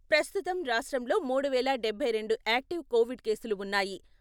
ప్రస్తుతం రాష్ట్రంలో మూడు వేల డబ్బై రెండు యాక్టివ్ కోవిడ్ కేసులు వున్నాయి.